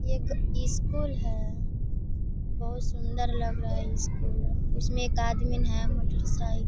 ये एक स्कूल है। बहुत सुन्दर लग रहा है स्कूल । उसमे एक आदमी है मोटर सा --